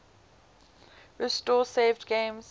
restore saved games